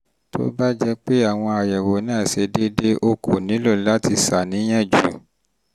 tó bá jẹ́ pé àwọn àyẹ̀wò náà ṣe déédé o kò nílò láti ṣàníyàn jù